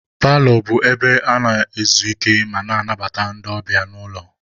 Paalọ bụ ebe a na-ezu ike ma na-anabata ndị ọbịa n'ụlọ.